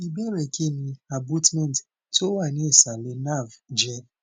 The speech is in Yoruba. ìbéèrè kí ni abutment tó wà ní ìsàlẹ nerve je